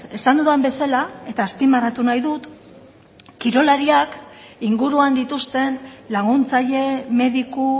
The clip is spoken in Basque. esan dudan bezala eta azpimarratu nahi dut kirolariak inguruan dituzten laguntzaile mediku